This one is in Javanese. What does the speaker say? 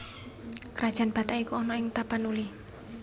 Krajan Batak iku ana ing Tapanuli